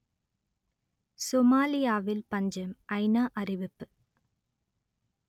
சொமாலியாவில் பஞ்சம் ஐநா அறிவிப்பு